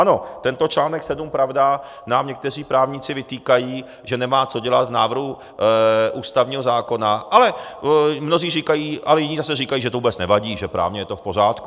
Ano, tento článek 7, pravda, nám někteří právníci vytýkají, že nemá co dělat v návrhu ústavního zákona, ale mnozí říkají a jiní zase říkají, že to vůbec nevadí, že právně je to v pořádku.